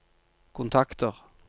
kontakter